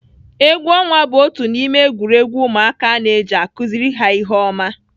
Egwu ọnwa bụ otu n'ime egwuregwu ụmụaka a na-eji akụziri ha ihe oma